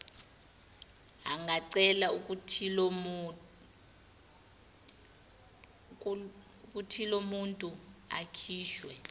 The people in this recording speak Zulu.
angacela ukuthilomuntu akhishwe